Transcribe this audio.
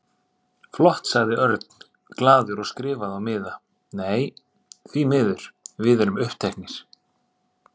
Flott sagði Örn glaður og skrifaði á miða: Nei, því miður, við erum uppteknir